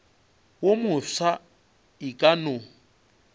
wo mofsa e ka no